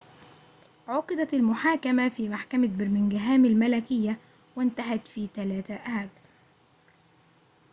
عُقدت المحاكمة في محكمة برمنغهام الملكية وانتهت في 3 آب